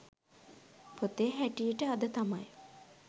පොතේ හැටියට අද තමයි